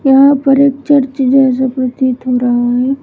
यहां पर एक चर्च जैसा प्रतीत हो रहा है।